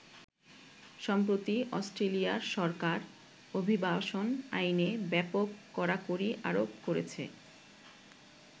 সম্প্রতি অষ্ট্রেলিয়ার সরকার অভিবাসন আইনে ব্যাপক কড়াকড়ি আরোপ করেছে।